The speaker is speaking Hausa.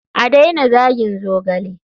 A daina zagin zogale.